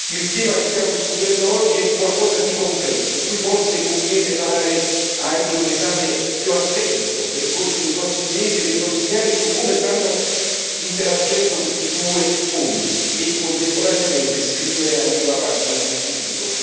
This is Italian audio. Il tema che stiamo discutendo oggi è qualcosa di concreto, su cui forse conviene fare anche un esame più attento nel corso dei prossimi mesi e dei prossimi anni, su come stanno interagendo questi due fondi e, contemporaneamente, scrivere anche una pagina sul futuro.